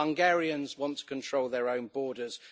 Hungarians wants control their own borders